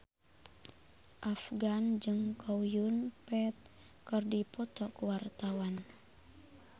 Afgan jeung Chow Yun Fat keur dipoto ku wartawan